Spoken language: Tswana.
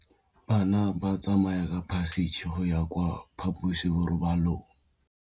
Bana ba tsamaya ka phašitshe go ya kwa phaposiborobalong.